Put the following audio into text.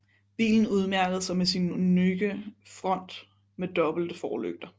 Bilen udmærkede sig med sin unikke front med dobbelte forlygter